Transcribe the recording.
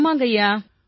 ஆமாங்கய்யா